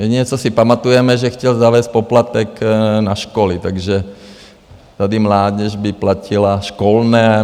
Jediné, co si pamatujeme, že chtěl zavést poplatek na školy, takže tady mládež by platila školné.